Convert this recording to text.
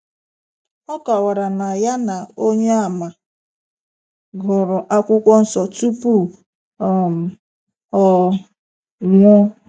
O kọwara na ya na onyeama gụrụ akwụkwọ nsọ tupu um ọ nwụọ.